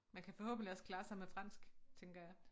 Man kan forhåbentligt også klare sig med fransk tænker jeg